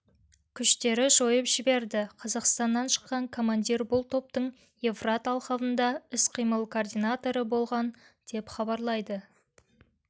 күштері жойып жіберді қазақстаннан шыққан командир бұл топтың евфрат алқабында іс-қимыл координаторы болған деп хабарлайды